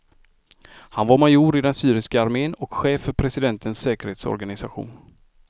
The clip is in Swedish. Han var major i den syriska armen och chef för presidentens säkerhetsorganisation.